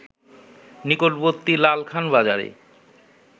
নিকটবর্তী লালখান বাজারে